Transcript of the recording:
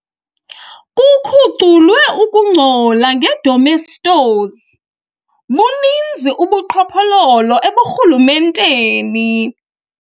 Kukhuculwe ukungcola ngedomestos. buninzi ubuqhophololo eburhulumenteni